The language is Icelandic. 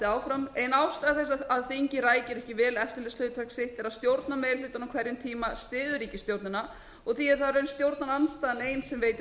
áfram ein ástæða þess að þingið rækir ekki vel eftirlitshlutverk sitt er að stjórnarmeirihlutinn á hverjum tíma styður ríkisstjórnina og því er það í raun stjórnarandstaðan ein sem veitir